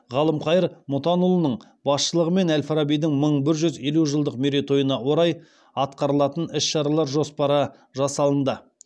ғалымқайыр мұтанұлының басшылығымен әл фарабидің мың бір жүз елу жылдық мерейтойына орай атқарылатын іс шаралар жоспары жасалынды